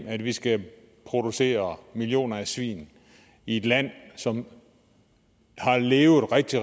at vi skal producere millioner svin i et land som har levet rigtig